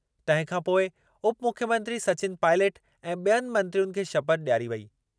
तंहिं खां पोइ उपमुख्यमंत्री सचिन पायलट ऐं ॿियनि मंत्रीयुनि खे शपथ ॾियारी वेई